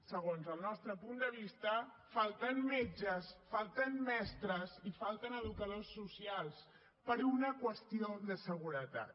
segons el nostre punt de vista falten metges falten mestres i falten educadors socials per una qüestió de seguretat